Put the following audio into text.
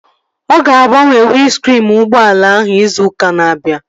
Ọ ga-agbanwe windskriin ụgbọala ahụ izu ụka na-abịa